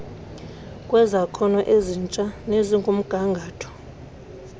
kwezakhono ezitsha nezikumgangatho